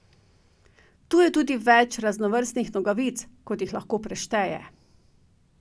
Tu je tudi več raznovrstnih nogavic, kot jih lahko prešteje.